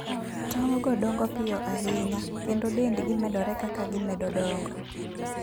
Tong go dongo piyo ahinya, kendo dendgi medore kaka gimedo dongo.